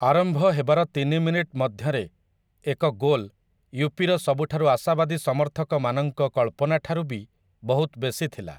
ଆରମ୍ଭ ହେବାର ତିନି ମିନିଟ୍ ମଧ୍ୟରେ ଏକ ଗୋଲ୍, ୟୁ.ପି. ର ସବୁଠୁ ଆଶାବାଦୀ ସମର୍ଥକମାନଙ୍କ କଳ୍ପନା ଠାରୁ ବି ବହୁତ ବେଶି ଥିଲା ।